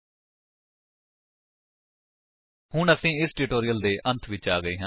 http spoken tutorial org ਨਮੈਕਟ intro ਹੁਣ ਅਸੀ ਇਸ ਟਿਊਟੋਰਿਅਲ ਦੇ ਅੰਤ ਵਿੱਚ ਆ ਗਏ ਹਾਂ